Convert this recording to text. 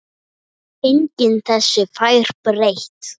Enginn þessu fær breytt.